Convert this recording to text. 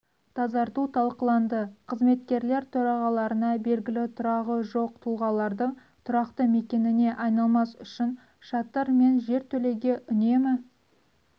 тазарту талқыланды қызметкерлер төрағаларына белгілі тұрағы жоқ тұлғалардың тұрақты мекеніне айналмас үшін шатыр мен жертөлегеүнемі